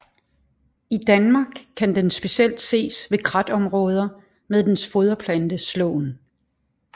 I Danmark kan den specielt ses ved kratområder med dens foderplante slåen